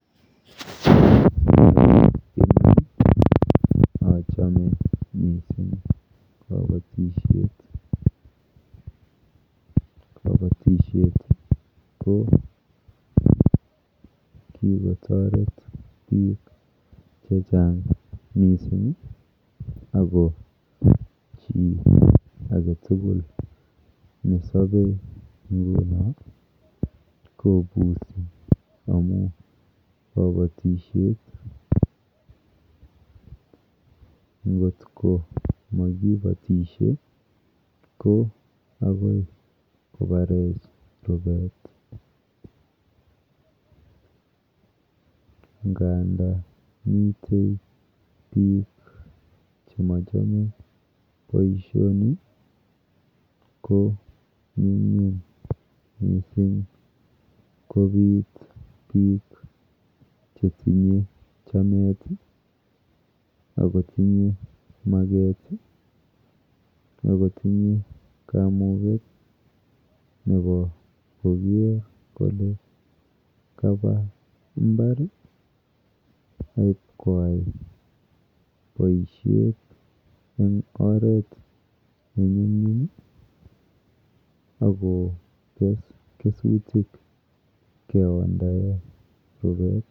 Eng yu achome mising kabatishet. Kabatishet ko kikotoret biik chechang mising ako chi aketugul nesobe nguno kobusi amu kabatishet. Nkot komakibotishe ko akoi kobarech rupet nganda mite biik chemochome boishoni ko nyumnyum mising kopit biik chetinye chamet akotinye naet akotinye kamuket nepo koker kole kapa imbar aipkoai boishet eng oret nenyumnyum akokes kesutik keondae rupet.